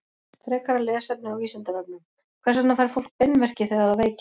Frekara lesefni á Vísindavefnum: Hvers vegna fær fólk beinverki þegar það veikist?